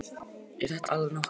Er þetta ekki allnokkuð?